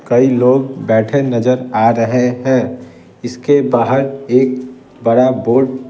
कई लोग बैठे नजर आ रहे हैं इसके बाहर एक बड़ा बोर्ड --